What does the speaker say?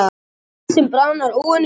Ísinn bráðnar óvenju hratt